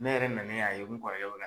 Ne yɛrɛ nani y'a ye n kɔrɔkɛ